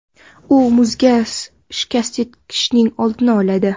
U muzga shikast yetishining oldini oladi.